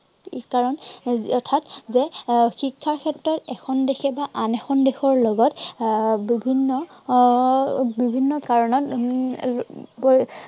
কাৰন, অৰ্থাৎ যে আহ শিক্ষাৰ ক্ষেত্ৰত এখন দেশে আন এখন দেশৰ লগত আহ বিভিন্ন আহ বিভিন্ন কাৰনত উম এৰ